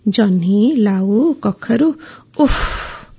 ଜହ୍ନି ଲାଉ କଖାରୁ ଓଃ